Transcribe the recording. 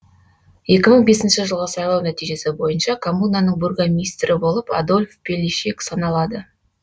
екі мың бесінші жылғы сайлау нәтижесі бойынша коммунаның бургомистрі болып адольф пеллишек саналады